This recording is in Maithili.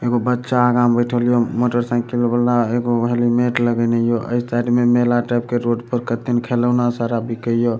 एगो बच्चा अगा में बैठल या मोटर साइकिल वला एगो हेलमेट लगेना या ए साइड मे मेला टाइप के रोड पर कते ने खेलौना सारा बिके या।